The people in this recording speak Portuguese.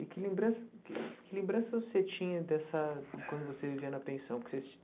E que lembranç que lembranças você tinha dessa quando você vivia na pensão porque vocès?